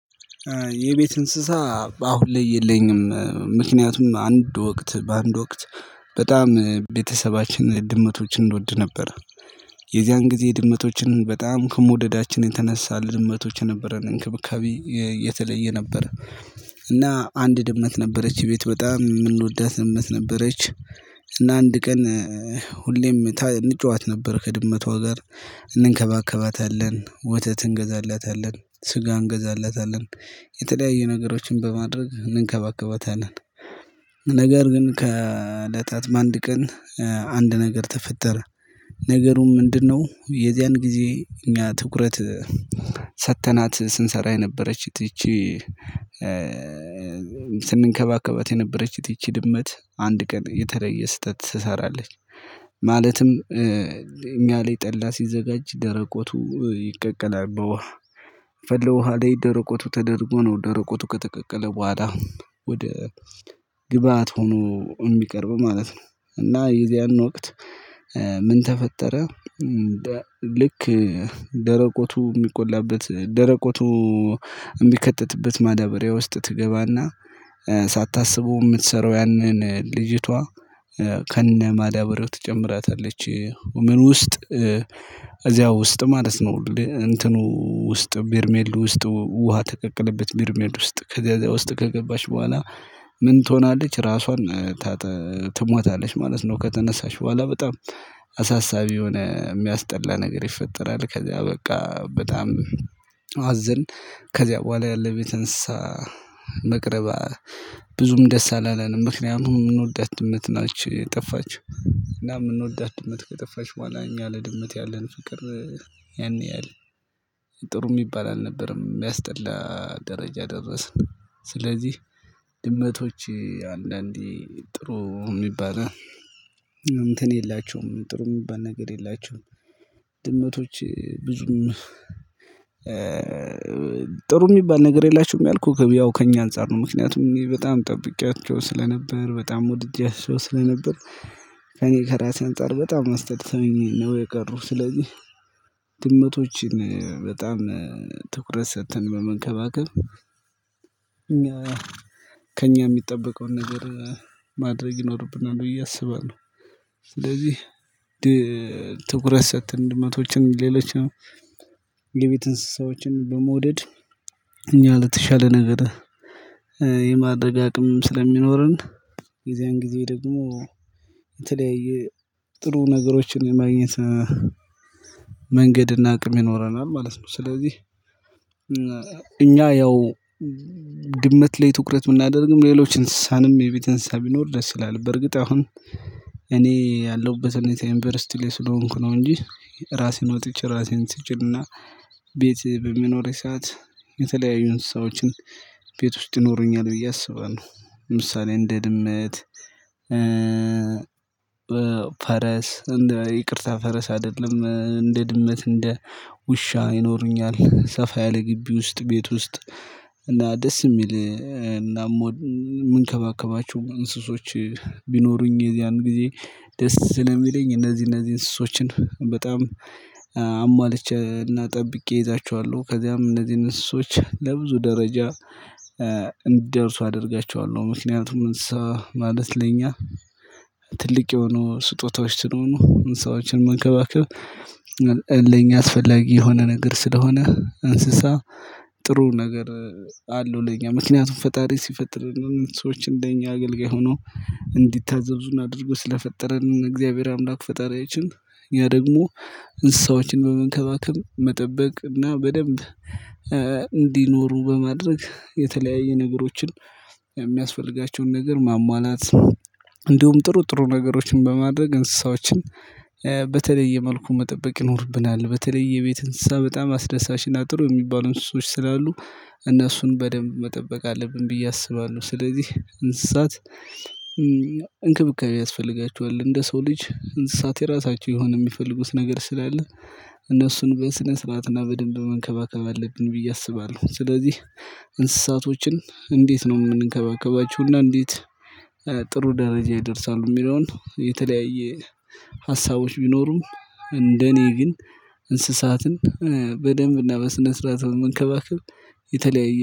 የቤት እንስሳ አሁን ላይ የለኝም ምክንያቱም አንድ ወቅት በአንድ ወቅት በጣም ቤተሰባችንን ድመቶችን እንወድ ነበር። የዚያን ጊዜ ድመቶችን በጣም ከመውደዳችን የተነሳ ልድመቶች ነበረን እንክብካቤ የተለየ ነበረ። እና አንድ ድመት ነበረች እቤት በጣም የምንወዳት ነበረች። እና አንድ ቀን ሁሌም እንጫዋት ነበር ከድመቷ ጋር እንንከባከባታለን ወተት እንገዛላታለን ስጋ እንገዛላታለን የተለያዩ ነገሮችን በማድረግ እንከባከበታለን። ነገር ግን ከእለታት አንድ ቀን አንድ ነገር ተፈጠረ። ነገሩ ምንድነው? የዚያን ጊዜ እኛ ትኩረት ስንሰራ የነበረችት ይቺ ስንከባከበት የነበረች ይቺ ድመት አንድ ቀን የተለየ ስህተት ትሰራለች። ማለትም እኛ ላይ ጠላ ሲዘጋጅ ደረቆቱ ይቀቀላል በውሃ የፈለው ዉሃ ላይ ደረቆቱ ተደርጎ ነው ደረቆቱ ከተቀቀለ በኋላ ወደ ግብአት ሆኖ የሚቀርበው ማለት ነው። እና የዚያን ወቅት ምን ተፈጠረ። ልክ ደረቆቱ የሚቆላበት ደረቆቱ የሚከትትበት ማዳበሪያ ውስጥ ትገባና ሳታስበው የምትሰራው ያንን ልጅቷ ከነማዳብርው ትጨምራታለች። ምኑ ውስጥ? ከዚያ ውስጥ ማለት ነው እንትኑ ውስጥ ቢርሜሉ ውስጥ ውሃ ተቀቀለበት ቢርሜል ውስጥ ከዛ ውስጥ ከገባች በኋላ ምን ትሆናለች ራሷን ትሟታለች ማለት ነው። ከተነሳሽ በኋላ በጣም አሳሳቢ የሆነ የሚያስጠላ ነገር ይፈጠራል። ከዛ በቃ በጣም አዘን። ከዚያ በኋላ ያለ ቤት እንስሳ መቅረባ ብዙም ደስ አላለንም። ምክንያቱም የምንወዳት ድመት ናችሁ የጠፋችው እና የምንወዳት ድመት ከጠፋችው በኋላ እኛ ላይ ለድመት ያለን ፍቅር ያን ያህል ጥሩ የሚባል አልነበረም የሚያስጠላ ደረጃ ደረስን። ስለዚህ ድመቶች አንዳንዴ ጥሩ የሚባል እንትን የላቸውም ጥሩ የሚባል ነገር የላቸውም። ድመቶች ብዙም ጥሩ የሚባል ነገር የላችሁም ያልኩህ ያው ከእኛ አንፃር ነው ምክንያቱምእኔ በጣም ጠብቄያቸው ስለነበር በጣም ወድጃቸው ስለነበር። ከእኔ ከራሴ አንፃር በጣም አስጠልተውኝ ነው የቀሩት። ስለዚህ ድመቶችን በጣም ትኩረት ሰጥተን በመንከባከብ ከእኛ የሚጠበቀውን ነገር ማድረግ ይኖርብናል ብዬ አስባለው። ስለዚህ ትኩረት ሰጥተን ድመቶችን ሌሎችም የቤት እንስሳዎችን በመውደድ እኛ ለተሻለ ነገር የማድረግ አቅም ስለሚኖረን የዚያን ጊዜ ደግሞ የተለያየ ጥሩ ነገሮችን የማግኘት መንገድ እና አቅም ይኖረናል ማለት ነው። ስለዚህ እኛ ያው ድመት ላይ ትኩረት ብናደርግም ሌሎች እንስሳንም የቤት እንስሳ ቢኖር ደስ ይላል። በርግጥ አሁን እኔ ያለሁበት ሁኔታ ዩኒቨርሲቲ ላይ ስለሆንኩ ነው እንጂ ራሴን ወጥቼ ራሴን ትችልና ቤት በመኖሬ ሰዓት የተለያዩ እንስሳዎችን ቤት ውስጥ ይኖሩኛል ብዬ አስባለሁ። ለምሳሌ እንደ ድመት ፈረስ እንደ ይቅርታ ፈረስ አይደለም እንደ ድመት እንደ ውሻ ይኖሩኛል። ሰፋ ያለ ግቢ ውስጥ ቤት ውስጥ እና ደስ የሚል እናም የምንከባከባቸው እንስሶች ቢኖሩኝ የዚያን ጊዜ ደስ ስለሚለኝ እነዚህ እነዚህ እነዚህ እንስሶችን በጣም አሟልቼ እና ጠብቄ እይዛችኋለሁ ከዚያም እነዚህን እንስሳዎች ለብዙ ደረጃ እንዲደርሱ አደርጋችኋለሁ። ምክንያቱም እንስሳ ማለት ለኛ ትልቅ የሆኑ ስጦታዎች ስለሆኑ እንስሳዎችን መንከባከብ ለኛ አስፈላጊ የሆነ ነገር ስለሆነ እንስሳ ጥሩ ነገር አለው። ለኛ ምክንያቱም ፈጣሪ ሲፈጥርንም ሰዎችን እንደኛ አገልጋይ ሆኖ እንዲታዘዙን አድርጎ ስለፈጠረን እግዚአብሔር አምላክ ፈጣሪያችን ያ ደግሞ እንስሳዎችን በመንከባከብ መጠበቅ እና በደንብ እንዲኖሩ በማድረግ የተለያየ ነገሮችን የሚያስፈልጋቸውን ነገር ማሟላት እንዲሁም ጥሩ ጥሩ ነገሮችን በማድረግ እንስሳዎችን በተለየ መልኩ መጠበቅ ይኖርብናል። በተለይ የቤት እንስሳ በጣም አስደሳች እና ጥሩ የሚባሉ እንስሶች ስላሉ እነሱን በደንብ መጠበቅ አለብን ብዬ አስባለሁ። ስለዚህ እንስሳት እንክብካቤ ያስፈልጋቸዋል እንደ ሰው ልጅ እንስሳት የራሳቸው የሆነ የሚፈልጉት ነገር ስላለ እነሱን በስነ ስርዓት እና በደንብ መንከባከብ አለብን ብዬ አስባለሁ። ስለዚህ እንስሳቶችን እንዴት ነው የምንከባከባችው? እና እንዴት ጥሩ ደረጃ ይደርሳሉ። የሚለውን የተለያየ ሀሳቦች ቢኖሩም። እንደኔ ግን እንስሳትን በደንብ እና በስነ ስርዓት በመንከባከብ። የተለያየ